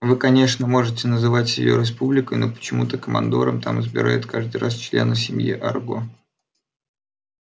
вы конечно можете называть её республикой но почему-то командором там избирают каждый раз члена семьи арго